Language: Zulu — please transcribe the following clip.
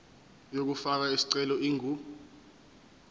yokufaka isicelo ingu